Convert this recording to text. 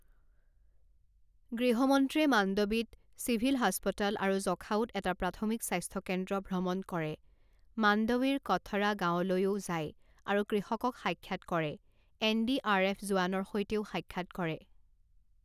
গৃহ মন্ত্ৰীয়ে মাণ্ডৱীত চিভিল হাস্পতাল আৰু জখাউত এটা প্ৰাথমিক স্বাস্থ্য কেন্দ্ৰ ভ্ৰমণ কৰে, মাণ্ডৱীৰ কঠড়া গাঁৱলৈও যায় আৰু কৃষকক সাক্ষাৎ কৰে, এনডিআৰএফ জোৱানৰ সৈতেও সাক্ষাৎ কৰে